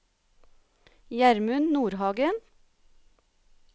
Gjermund Nordhagen